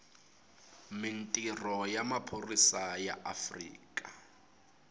mintirho ya maphorisa ya afrika